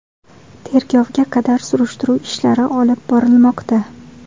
Tergovga qadar surishtiruv ishlari olib borilmoqda.